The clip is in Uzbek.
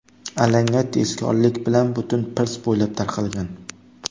Alanga tezkorlik bilan butun pirs bo‘ylab tarqalgan.